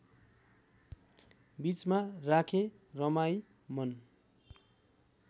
बीचमा राखेँ रमाई मन